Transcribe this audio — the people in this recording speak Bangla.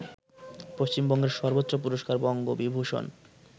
পশ্চিমবঙ্গের সর্বোচ্চ পুরস্কার বঙ্গবিভূষণ